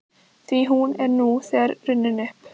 Því hún er nú þegar runnin upp.